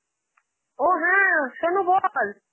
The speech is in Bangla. ও হ্যাঁ, সোনু বল